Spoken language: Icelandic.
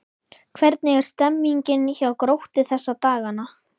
Hvernig er stemningin hjá Gróttu þessa dagana?